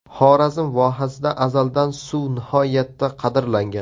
Xorazm vohasida azaldan suv nihoyatda qadrlangan.